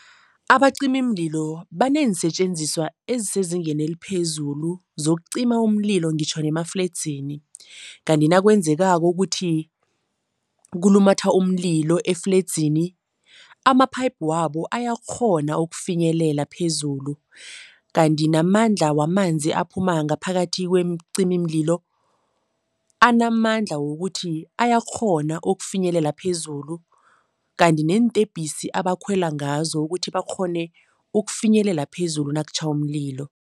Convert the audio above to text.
Abacimimlilo baneensetjenziswa ezisezingeni eliphezulu zokucima umlilo ngitjho ngemafledzini. Kanti nakwenzekako ukuthi kulumatha umlilo efledzini, ama-pipe wabo ayakghona ukufinyelela phezulu kanti namandla wamanzi aphuma ngaphakathi kwemicimimlilo, anamandla wokuthi ayakghona ukufinyelela phezulu kanti neentebhisi abakhwela ngazo ukuthi bakghone ukufinyelela phezulu nakutjha umlilo.